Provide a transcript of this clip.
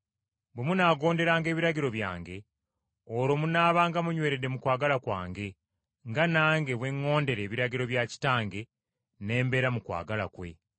Bwe munaagonderanga ebiragiro byange olwo munaabanga munyweredde mu kwagala kwange, nga nange bwe ŋŋondera ebiragiro bya Kitange ne mbeera mu kwagala kwe.